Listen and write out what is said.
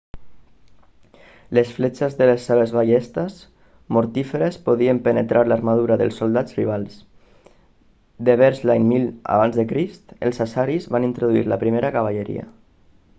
les fletxes de les seves ballestes mortíferes podien penetrar l'armadura dels soldats rivals devers l'any 1000 ac els assiris van introduir la primera cavalleria